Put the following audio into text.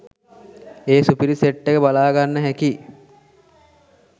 ඒ සුපිරි සෙට් එක බලාගන්න හැකි